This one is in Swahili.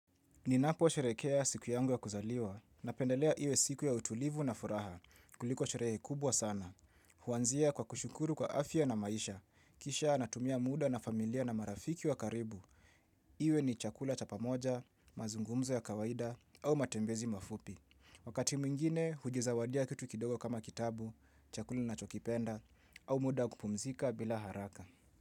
Ninapo sherehekea siku yangu ya kuzaliwa napendelea iwe siku ya utulivu na furaha kuliko sherehe kubwa sana. Huanzia kwa kushukuru kwa afya na maisha. Kisha natumia muda na familia na marafiki wa karibu. Iwe ni chakula cha pamoja, mazungumzo ya kawaida au matembezi mafupi. Wakati mwingine, hujizawadia kitu kidogo kama kitabu, chakula nachokipenda au muda wa kupumzika bila haraka.